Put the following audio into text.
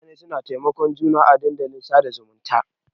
Mutane na taimakon juna à dandalin sada zumunta.